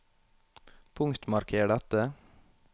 Punktmarker dette